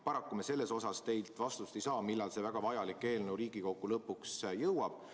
Paraku me selle kohta teilt vastust ei saa, millal see väga vajalik eelnõu Riigikokku lõpuks jõuab.